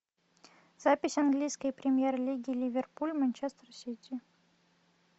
запись английской премьер лиги ливерпуль манчестер сити